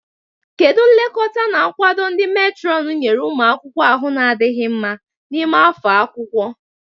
Kedu nlekọta na nkwado ndị meetron nyere ụmụ akwụkwọ ahụ na-adịghị mma n'ime afọ akwụkwọ?